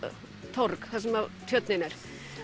torg þar sem tjörnin er